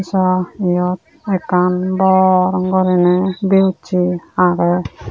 so eyot ekkan bor guri ney b u c aagay.